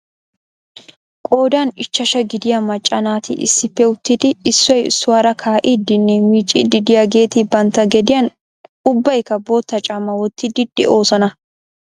Qoodan ichashsha gidiyaa macca naati issippe uttidi issoy issuwaara kaa'idinne miiccidi de'iyaageeti bantta gediyaan ubbaykka bootta caamaa wottidi de'oosona .